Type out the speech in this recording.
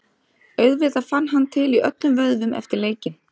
Auðvitað fann hann til í öllum vöðvum eftir leikinn.